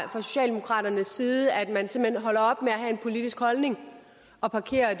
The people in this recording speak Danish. socialdemokraternes side altså at man simpelt hen holder op med at have en politisk holdning og parkerer